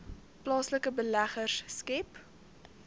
plaaslike beleggers skep